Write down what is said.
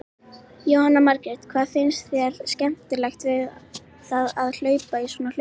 Jóhanna Margrét: Hvað finnst þér skemmtilegt við það að hlaupa í svona hlaupi?